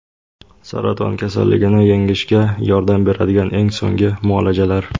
Saraton kasalligini yengishga yordam beradigan eng so‘nggi muolajalar.